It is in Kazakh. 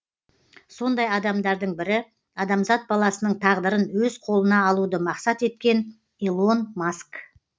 сондай адамдардың бірі адамзат баласының тағдырын өз қолына алуды мақсат еткен илон маск